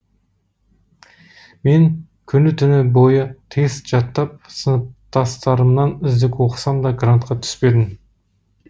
мен күні түні бойы тест жаттап сыныптастарымнан үздік оқысам да грантқа түспедім